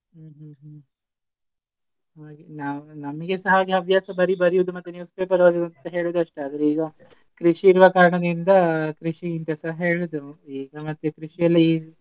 ಹ್ಮ್ ಹ್ಮ್ ಹ್ಮ್ ಹಾಗೆ ನಮಗೆಸ ಹವ್ಯಾಸ ಬರಿ ಬರಿಯುದು ಮತ್ತೆ newspaper ಓದುದು ಅಂತ ಹೇಳುದು ಅಷ್ಟೇ ಆದ್ರೆ ಈಗ ಕೃಷಿ ಇರುವ ಕಾರಣದಿಂದ ಕೃಷಿ ಅಂತಸ ಹೇಳುದು ಇದ್ರ ಮದ್ಯೆ ಕೃಷಿ .